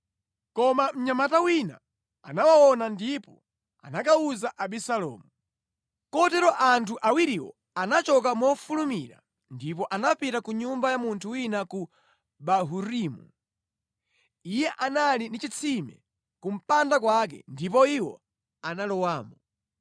Koma mnyamata wina anawaona ndipo anakawuza Abisalomu. Kotero anthu awiriwo anachoka mofulumira ndipo anapita ku nyumba ya munthu wina ku Bahurimu. Iye anali ndi chitsime ku mpanda kwake ndipo iwo analowamo.